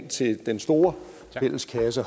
til den store fælleskasse